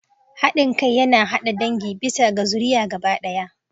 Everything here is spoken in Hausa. Haɗin kai yana haɗa dangi bisa ga zuriya gaba ɗaya.